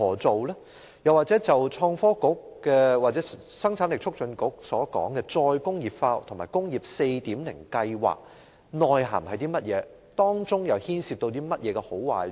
創新及科技局或香港生產力促進局所說的"再工業化"和"工業 4.0" 計劃的內涵，究竟是甚麼？